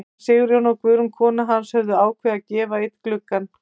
Séra Sigurjón og Guðrún kona hans höfðu ákveðið að gefa einn gluggann.